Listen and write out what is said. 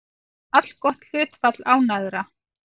Allgott hlutfall ánægðra